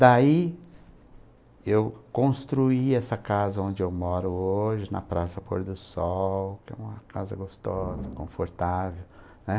Daí eu construí essa casa onde eu moro hoje, na Praça Pôr do Sol, que é uma casa gostosa, confortável, né?